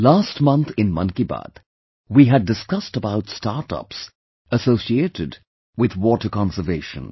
Last month in 'Mann Ki Baat', we had discussed about startups associated with water conservation